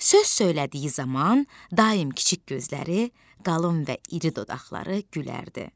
Söz söylədiyi zaman daim kiçik gözləri, qalın və iri dodaqları gülərdi.